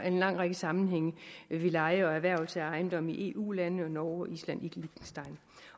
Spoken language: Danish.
en lang række sammenhænge ved leje og erhvervelse af ejendomme i eu landene og i norge island